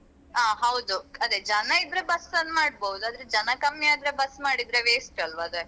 ಹ ಹೌದು ಅದೆ ಜನ ಇದ್ರೆ ನಾವ್ bus ಅನ್ನ್ ಮಾಡ್ಬೋದು ಆದ್ರೆ ಜನ ಕಮ್ಮಿ ಆದ್ರೆ bus ಮಾಡಿದ್ರೆ waste ಅಲ್ವ ಅದು.